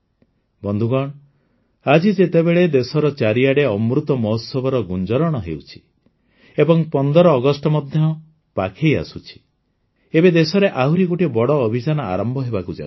ବନ୍ଧୁଗଣ ଆଜି ଯେତେବେଳେ ଦେଶର ଚାରିଆଡ଼େ ଅମୃତ ମହୋତ୍ସବର ଗୁଞ୍ଜରଣ ହେଉଛି ଏବଂ ୧୫ ଅଗଷ୍ଟ ମଧ୍ୟ ପାଖେଇ ଆସୁଛି ଏବେ ଦେଶରେ ଆହୁରି ଗୋଟିଏ ବଡ଼ ଅଭିଯାନ ଆରମ୍ଭ ହେବାକୁ ଯାଉଛି